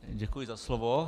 Děkuji za slovo.